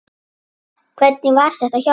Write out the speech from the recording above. Hvernig var þetta hjá þér?